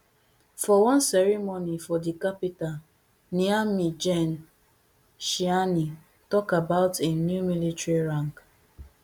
for one ceremony for di capital niamey gen tchiani tok about im new military rank